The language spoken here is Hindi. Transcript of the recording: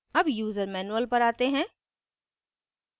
अब यूज़र manual पर आते हैं